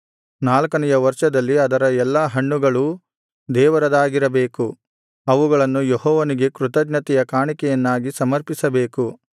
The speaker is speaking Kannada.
ನಾಲ್ಕನೆಯ ವರ್ಷದಲ್ಲಿ ಅದರ ಎಲ್ಲಾ ಹಣ್ಣುಗಳೂ ದೇವರದಾಗಿರಬೇಕು ಅವುಗಳನ್ನು ಯೆಹೋವನಿಗೆ ಕೃತಜ್ಞತೆಯ ಕಾಣಿಕೆಯನ್ನಾಗಿ ಸಮರ್ಪಿಸಬೇಕು